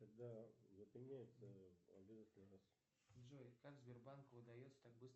джой как сбербанку удается так быстро